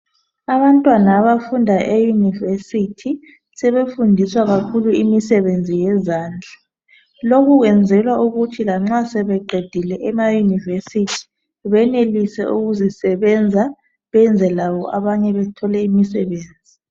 Abantwana abafunda eyunivesithi sebefundiswa kakhulu imisebenzi yezandla. Lokhu kwenzela ukuthi lanxa sebeqedile benelise ukuzisebenza benze labo abanye bethole imisebenzi.